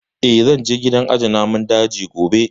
Eh, zan je gidan aje namun daji gobe